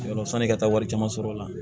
Yɔrɔ sanni ka taa wari caman sɔrɔ o la